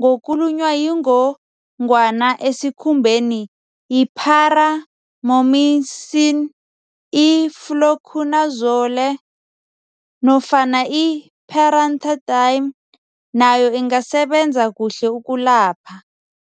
ngokulunywa yingongwana esikhumbeni, yi-paramomycin, i-fluconazole, nofanai-pentamidine nayo ingasebenza kuhle ukulapha.